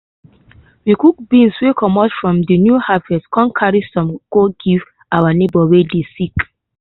we cook beans wey comot from de new harvest come carry some go give our neighbor wey dey sick.